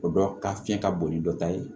O dɔ ka fiɲɛ ka bon ni dɔ ta ye